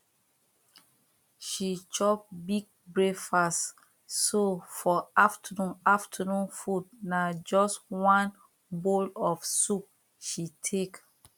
she chop big breakfast so for afternoon afternoon food na just one bowl of soup she take